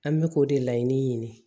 An bɛ k'o de laɲini ɲini